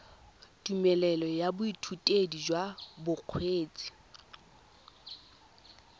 tumelelo ya boithutedi jwa bokgweetsi